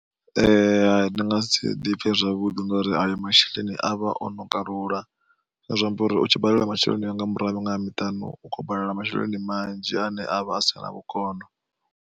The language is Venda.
Ndi nga si ḓipfe zwavhuḓi ngori ayo masheleni avha o no kalula zwine zwa amba uri utshi badela masheleni anga murahu ha miṅwaha miṱanu u khou badela masheleni manzhi ane avha a sina vhukono.